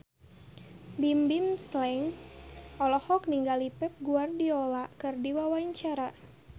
Bimbim Slank olohok ningali Pep Guardiola keur diwawancara